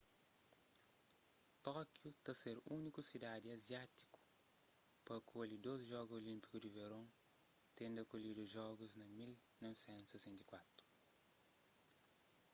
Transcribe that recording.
tókiu ta ser úniku sidadi aziátiku pa akolhi dôs jogu olínpiku di veron tendu akolhidu jogus na 1964